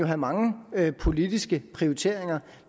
have mange politiske prioriteringer